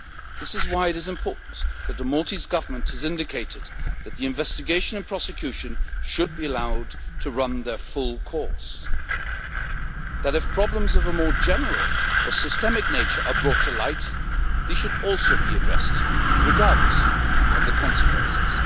This is why it is important that the Maltese Government has indicated that the investigation and prosecution should be allowed to run their full course, that if problems of a more general or systemic nature are brought to light, they should also be addressed, regardless of the consequences.